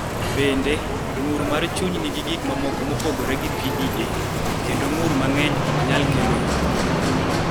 Bende, ng�ur mar chuny nigi gik mamoko mopogore gi PDA, kendo ng�ur mang�eny ok nyal kelo hinyruok.